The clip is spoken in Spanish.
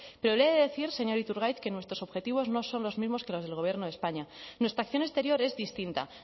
pero le he decir señor iturgaiz que nuestros objetivos no son los mismos que los del gobierno de españa nuestra acción exterior es distinta